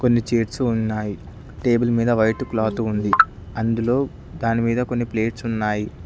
కొన్ని చేర్చి ఉన్నాయి టేబుల్ మీద వైట్ క్లాత్ ఉంది అందులో దానిమీద కొన్ని ప్లేట్స్ ఉన్నాయి.